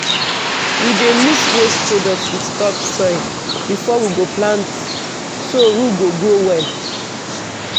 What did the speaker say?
we dey mix waste product with topsoil before we go plant so root go grow well.